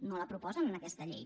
no la proposen en aquesta llei